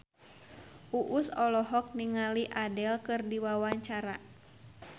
Uus olohok ningali Adele keur diwawancara